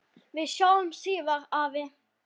Við sjáumst síðar, afi.